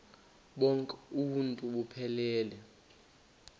bonk uuntu buphelele